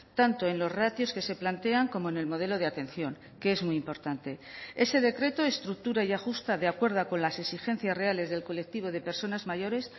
tanto en los ratios que se plantean como en el modelo de atención que es muy importante ese decreto estructura y ajusta de acuerdo con las exigencias reales del colectivo de personas mayores